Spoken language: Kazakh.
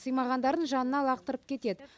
сыймағандарын жанына лақтырып кетед